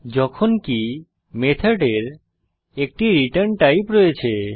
যখনকি মেথডের একটি রিটার্ন টাইপ রয়েছে